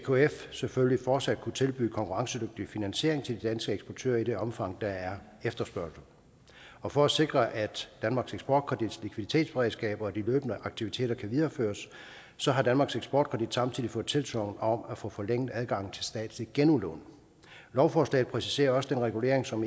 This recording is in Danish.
selvfølgelig fortsat kunne tilbyde konkurrencedygtig finansiering til de danske eksportører i det omfang der er efterspørgsel og for at sikre at danmarks eksportkredits likviditetsberedskab og de løbende aktiviteter kan videreføres så har danmarks eksportkredit samtidig fået tilsagn om at få forlænget adgangen til statslige genudlån lovforslaget præciserer også den regulering som